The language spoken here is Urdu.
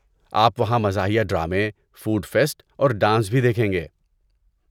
آپ وہاں مزاحیہ ڈرامے، فوڈ فیسٹ اور ڈانس بھی دیکھیں گے۔